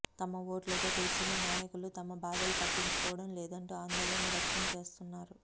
తమ ఓట్ల తో గెలిచిన నాయకులు తమ బాధలు పట్టించుకోవడం లేదంటూ అందోళన వ్యక్తం చేస్తున్నారు